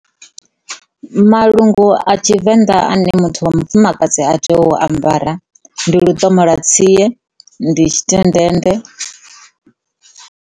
Malungu a Tshivenda ane muthu wa mufumakadzi a tea u ambara ndi luṱomola tsia ndi tshitendende.